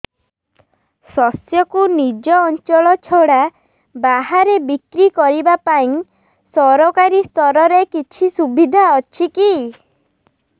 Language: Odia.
ଶସ୍ୟକୁ ନିଜ ଅଞ୍ଚଳ ଛଡା ବାହାରେ ବିକ୍ରି କରିବା ପାଇଁ ସରକାରୀ ସ୍ତରରେ କିଛି ସୁବିଧା ଅଛି କି